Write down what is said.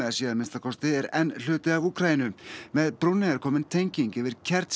að minnsta kosti er enn hluti af Úkraínu með brúnni er komin tenging yfir